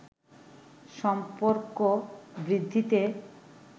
সম্পর্ক বৃদ্ধিতে